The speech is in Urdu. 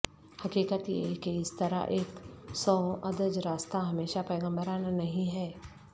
حقیقت یہ ہے کہ اس طرح ایک سوادج راستہ ہمیشہ پیغمبرانہ نہیں ہے